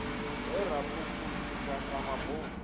he ra phuphuzika sa mabofu